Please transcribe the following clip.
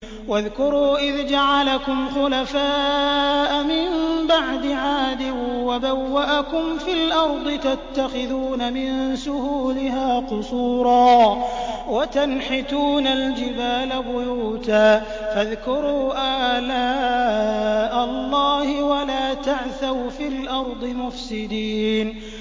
وَاذْكُرُوا إِذْ جَعَلَكُمْ خُلَفَاءَ مِن بَعْدِ عَادٍ وَبَوَّأَكُمْ فِي الْأَرْضِ تَتَّخِذُونَ مِن سُهُولِهَا قُصُورًا وَتَنْحِتُونَ الْجِبَالَ بُيُوتًا ۖ فَاذْكُرُوا آلَاءَ اللَّهِ وَلَا تَعْثَوْا فِي الْأَرْضِ مُفْسِدِينَ